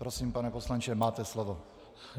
Prosím, pane poslanče, máte slovo.